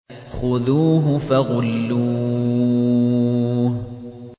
خُذُوهُ فَغُلُّوهُ